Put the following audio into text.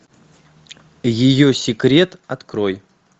ее секрет открой